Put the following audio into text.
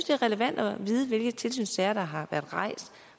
er relevant at vide hvilke tilsynssager der har været rejst